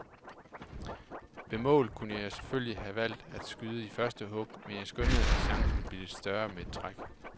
Ved målet kunne jeg selvfølgelig have valgt at skyde i første hug, men jeg skønnede at chancen ville blive større med et træk.